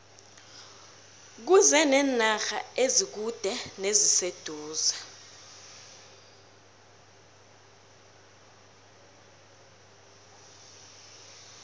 kuze nenarha ezikude neziseduze